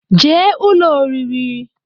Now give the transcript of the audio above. jee ụlọ oriri!